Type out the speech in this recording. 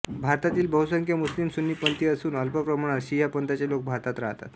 भारतातील बहुसंख्य मुस्लिम सुन्नी पंथीय असुन अल्प प्रमाणात शिया पंथाचे लोक भारतात राहतात